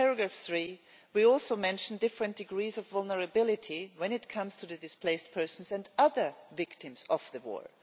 In paragraph 3 we mention different degrees of vulnerability when it comes to displaced persons and other victims of the war.